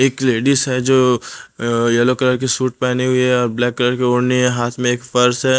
एक लेडिस है जो अह येलो कलर की सूट पेहनी हुई है ब्लैक कलर के ओढ़नी है हाथ में एक पर्स है।